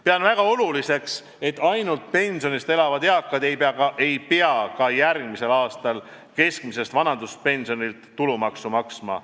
Pean väga oluliseks, et ainult pensionist elavad eakad ei pea ka järgmisel aastal keskmiselt vanaduspensionilt tulumaksu maksma.